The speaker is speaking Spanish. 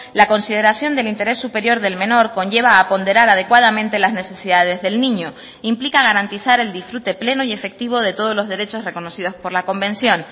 la consideración del interés superior del menor conlleva a ponderar adecuadamente las necesidades del niño implica garantizar el disfrute pleno y efectivo de todos los derechos reconocidos por la convención